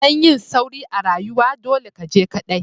Dan yin sauri a rayuwa, dolle ka je kadai!